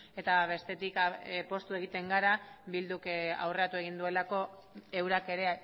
eta bestetik poztu egiten gara bilduk aurreratu egin duelako eurak ere